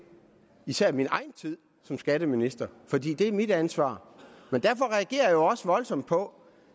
især min egen tid som skatteminister fordi det er mit ansvar men derfor reagerer jeg også voldsomt på